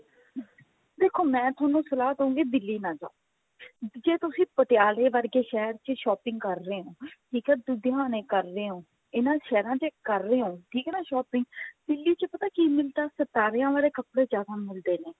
ਦੇਖੋ ਮੈਂ ਤੁਹਾਨੂੰ ਸਲਾਹ ਦੂਂਗੀ ਦਿੱਲੀ ਨਾ ਜਾਓ ਜੇ ਤੁਸੀਂ ਪਟਿਆਲੇ ਵਰਗੇ ਸ਼ਹਿਰ ਚ shopping ਕਰ ਰਹੇ ਹੋ ਠੀਕ ਹੈ ਲੁਧਿਆਣੇ ਕਰ ਰਹੇ ਹੋ ਠੀਕ ਹੈ ਨਾ shopping ਦਿੱਲੀ ਚ ਪਤਾ ਕਿ ਮਿਲਦਾ ਸਿਤਾਰਿਆ ਵਾਲੇ ਕੱਪੜੇ ਜਿਆਦਾ ਮਿਲਦੇ ਨੇ